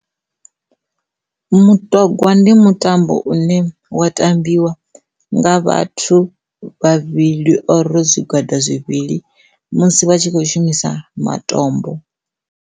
Mutogwa ndi mutambo une wa tambiwa nga vhathu vhavhili ro zwigwada zwivhili musi vha tshi khou shumisa matombo.